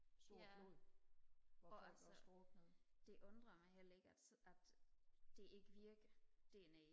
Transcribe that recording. ja og altså det undrer mig heller ikke at altså at det ikke virkede dernede